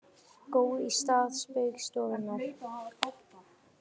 Gói í stað Spaugstofunnar